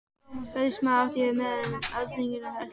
Ræðismaðurinn átti hér meira undir sér en Alþýðublaðið hafði ætlað.